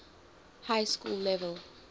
high school level